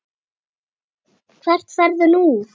Hvert ferðu nú?